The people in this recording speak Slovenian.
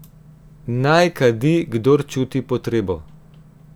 Naj kadi kdor čuti potrebo.